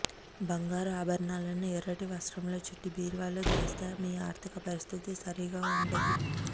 బంగారు ఆభరణాలను ఎర్రటి వస్రంలో చుట్టి బీరువాలో దాస్తే మీ ఆర్ధిక పరిస్థితి సరిగా ఉండదు